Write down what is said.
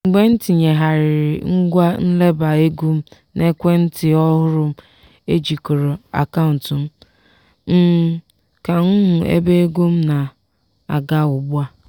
mgbe m tinyegharịrị ngwa nleba ego n'ekwe ntị ọhụrụ m ejikọrọ akaụntụ m um ka m hụ ebe ego m na-aga ugbu a.